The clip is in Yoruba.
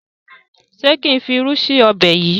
ṣe kín fí ìrù sí Ọbẹ̀ yí?